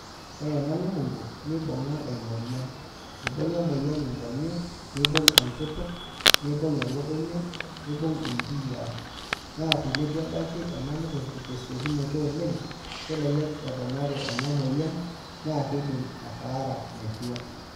Ore ena lukungu nibunga emoyian ibunga emoyian nkonyek nibung enkutuk nibung elukunya nibung nkiyia na tenebaki enalukungu tesiokinoto oleng kelelek eponari enamoyian na kidim ataara metua.